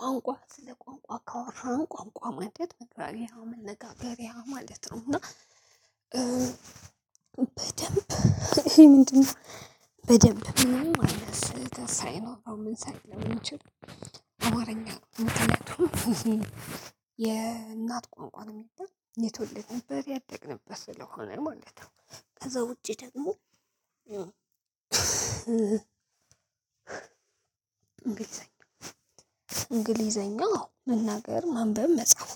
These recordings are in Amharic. ቋንቋ ስለ ቋንቋ ካወራህ ቋንቋ ማለት መግባቢያ መነጋገሪያ ማለት ነው እና በደንብ ይሄ ምንድነው? በደንብ ምንም ስህተት ሳይኖረው ሳይኖር ምን ሳይኖር የሚችል አማርኛ የምትለው የእናት ቁንቋን የሚል የተወለደ ነበር ያደግንበት ስለሆነ ማለት ነው። ከዛ ውጪ ደግሞ እንግሊዘኛ መናገር ማንበብ መጻፍ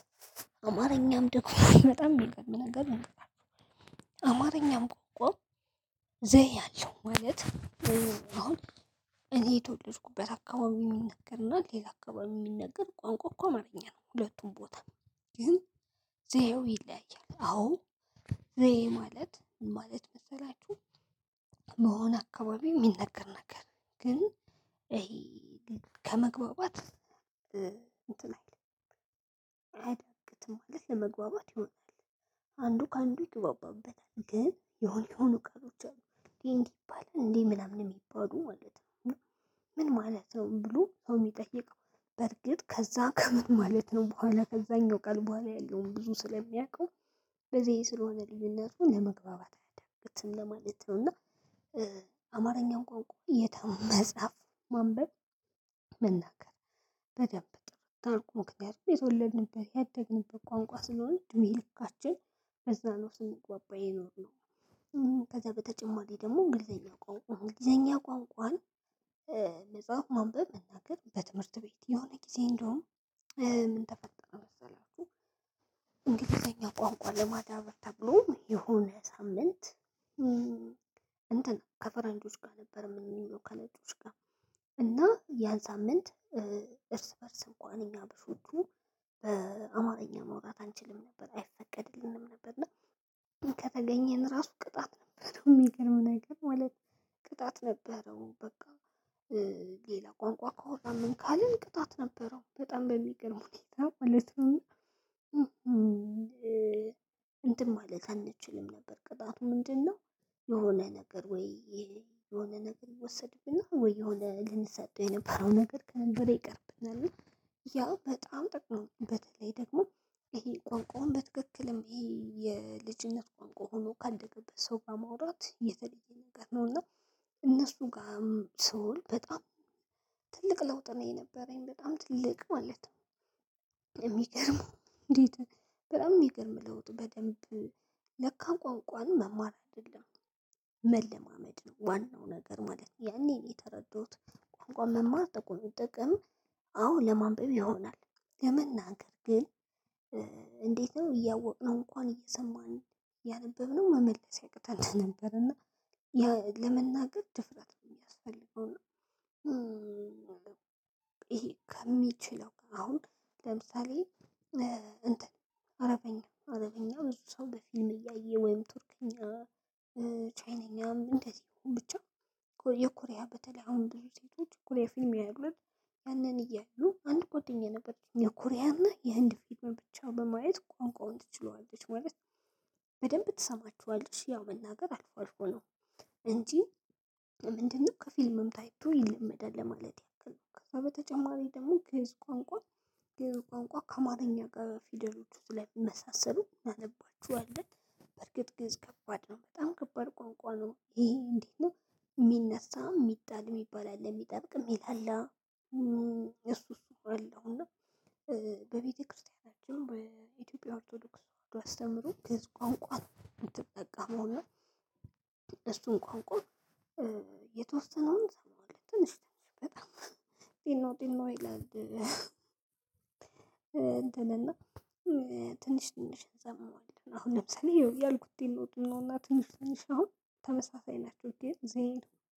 አማርኛም ደግሞ በጣም ሚገርም ነገር ነው። አማርኛም ቋንቋ ዘዬ አለው ማለት ዘዬ አሁን እኔ የተወለድኩበት አካባቢ ሚነገር እና ሌላ አካባቢ የሚነገር ቋንቋው እኮ አማርኛ ነው ሁለቱም ቦታ ግን ዘዬው ይለያያል። አዎ ዘዬ ማለት ምን ማለት መሰላችሁ? በሆነ አካባቢ ሚነገር ነገር ግን ይሄ ከመግባባት እንትን አይልም አይዳግትም ማለት ለመግባባት ይሆናል። አንዱ ከአንዱ ይግባባታል ግን የሆነ የሆኑ ቃሎች አሉ እንዴ እንዲባል እንዴ ምናምን ሚባሉ ማለት ነው። እና ምን ማለት ነው ብሎ ሰው ሚጠይቀው። በርግጥ ከዛ ከምን ማለት ነው በኋላ ከዛኛው ቃል በኋላ ያለውን ብዙ ስለሚያውቀው በዘዬ ስለሆነ ልዩነቱን ለመግባባት አያዳግትም ለማለት ነው። እና አማርኛው ቋንቋ የታ መጽሐፍ ማንበብ መናገር በደንብ ጥርት አድርጎ ምክንያቱም የተወለድንበት ያደግንበት ቋንቋ ስለሆነ እድሜልካችን በዛ ነው ስንግባባ የኖርነው። ከዛ በተጨማሪ ደግሞ እንግሊዘኛ ቋንቋ እንግሊዘኛ ቋንቋን መጽሐፍ ማንበብ መናገር በትምህርት ቤት የሆነ ጊዜ እንደውም ምን ተፈጠረ መሰላችሁ? እንግሊዘኛ ቋንቋ ለማዳበር ተብሎ የሆነ ሳምንት እንትን ከፈረንጆች ጋር ነበር እምንውለው ከነጮች ጋር እና ያን ሳምንት እርስ በእርስ እንኳን እኛ አበሾቹ በአማርኛ ማውራት አንችልም ነበር አይፈቀድልንም ነበር። እና ከተገኘን እራሱ ቅጣት ነበር ሚገርም ነገር ማለት ነው። ቅጣት ነበረው በቃ። ሌላ ቋንቋ ከሆነ ካልን ቅጣት ነበረው በጣም በሚገርም ሁኔታ ማለት ነው። እና እንትን ማለት አንችልም ነበር ቅጣቱ ምንድን ነው? የሆነ ነገር ወይ የሆነ ነገር ይወሰድብናል ወይ የሆነ ልንሰጠው የነበረ ነገር ከዛን በኋላ ይቀርብናል። እና ያ በጣም ጥቅም በተለይ ደግሞ ይሄ ቋንቋውን በትክክልም ይሄ የልጅነት ቋንቋ ሆኖ ካደግንበት ሰው ጋር ማውራት የተለየ ነገር ነው። እና እነሱ ጋርም ስውል በጣም ትልቅ ለውጥ ነው የነበረኝ በጣም ትልቅ ማለት ነው። የሚገርመው እንዴት? በጣም ሚገርም ለውጥ በደንብ ለካ ቋንቋን መማር አይደለም መለማመድ ነው ዋናው ነገር ማለት ያኔ የተረዳሁት። ቋንቋ መማር ጥቅም አዎ ለማንበብ ይሆናል። ለመናገር ግን እንዴት ነው እያወቅነው እንኳን እየሰማን እያነበብነው መመለስ ያቅተን ነበር። እና ለመናገር ድፍረት ነው ሚያስፈልገው። እና ከሚችለው አሁን ለምሳሌ እንትን አረብኛ አረብኛ ብዙ ሰው በፊልም እያየ ወይም ቱርክኛ ቻይነኛም እንደዚህ ብቻ የኮሪያ በተለይ አሁን ብዙ ሴቶች ኮሪያ ፊልም ያያሉ አደል። ያንን እያዩ አንድ ጓደኛ ነበረችኝ የኮሪያና የህንድ ፊልም ብቻ በማየት ቋንቋውን ትችለዋለች ማለት። በደንብ ትሰማቸዋለች ያው መናገር አልፎ አልፎ ነው እንጂ። ምንድነው ከፊልምም ታይቶ ይለመዳል ለማለት ያክል ነው። ከዛ በተጨማሪ ደግሞ ግእዝ ቋንቋ ግእዝ ቋንቋ ከአማርኛ ጋር ፊደሎቹ ስለሚመሳሰሉ እናነባቸዋለን። በርግጥ ግእዝ ከባድ ነው በጣም ከባድ ቋንቋ ነው ይሄ እንዴት ነው? ሚነሳ ሚጣል ሚባል አለ ሚጠብቅ ሚላላ እሱ እሱ አለው እና በቤተክርስቲያናችን በኢትዮጵያ ኦርቶዶክስ ተዋህዶ አስተምሮ ግእዝ ቋንቋ ነው። ምትጠቀመው እና እሱን ቋንቋ የተወሰነውን እሰማዋለሁ ትንሽ ትንሽ በጣም ጢኖ ጢኖ ይላል። እንትን እና ትንሽ ትንሽ እሰማዋለሁ አሁን ለምሳሌ ያልኩት ጢኖ ጢኖ እና ትንሽ ትንሽ አሁን ተመሳሳይ ናቸው። ግን ዘዬ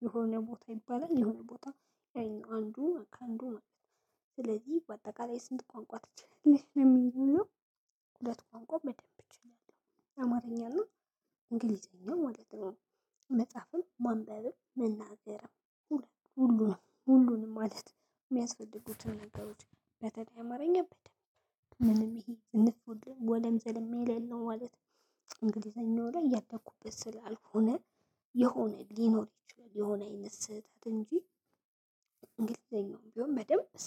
የሆነ ቦታ ይባላል የሆነ ቦታ ያኛውን አንዱ ከአንዱ ማለት ነው። ስለዚህ በአጠቃላይ ስንት ቋንቋ ትችያለሽ ለሚሆነው? ሁለት ቋንቋ በደንብ እችላለው አማርኛ እና እንግሊዘኛ ማለት ነው። መጻፍም ማንበብም መናገርም ሁሉንም ሁሉንም ማለት ሚያስፈልጉትን ነገሮች በተለይ አማርኛ በደንብ ምንም ይሄ ዝንፍ ውልም ወለም ዘለም የሌለው ማለት። እንግሊዝኛው ላይ ያደኩበት ስላልሆነ የሆነ ሊኖር ይችላል የሆነ አይነት ስህተት እንጂ። እንግሊዝኛውም ቢሆን በደንብ እሰማለሁ